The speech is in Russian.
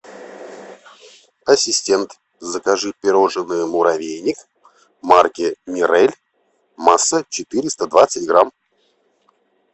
ассистент закажи пирожное муравейник марки мирель масса четыреста двадцать грамм